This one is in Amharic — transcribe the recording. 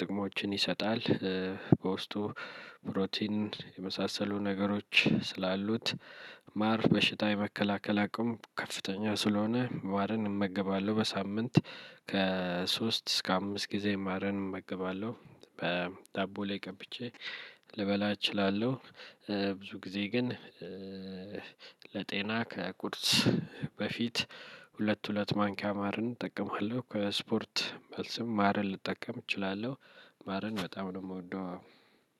ጥቅሞችን ይሰጣል። በውስጡ ፕሮቲን የመሳሰሉ ነገሮች ስላሉት ማር በሽታ የመከላከል አቅሙ ከፍተኛ ስለሆነ ማርን እመገባለሁ። በሳምንት ከሶስት እስከ አምስት ጊዜ ማርን እመገባለሁ። በዳቦ ላይ ቀብቼ ልበላ እችላለሁ። ብዙ ጊዜ ግን ለጤና ከቁርስ በፊት ሁለት ሁለት ማንኪያ ማርን እጠቀማለሁ። ከስፖርት መልስም ማርን ልጠቀም እችላለሁ። ማርን በጣም ነው የምወደው።